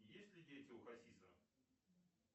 есть ли дети у хасиса